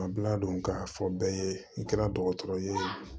Bila don k'a fɔ bɛɛ ye i kɛra dɔgɔtɔrɔ ye